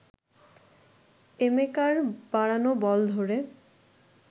এমেকার বাড়ানো বল ধরে